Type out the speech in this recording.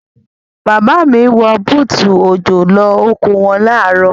Bàbá mi wọ bútù òjò lọ oko wọn ní àárọ̀.